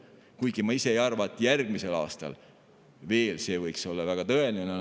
Kuigi ma ise ei arva, et see järgmisel aastal oleks väga tõenäoline.